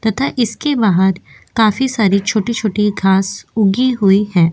तथा इसके बाहर काफी सारी छोटी-छोटी घाँस उगी हुई हैं।